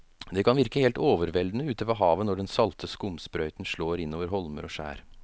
Det kan virke helt overveldende ute ved havet når den salte skumsprøyten slår innover holmer og skjær.